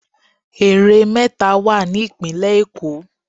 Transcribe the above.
Ère méta wà ní ìpínlẹ̀ Èkó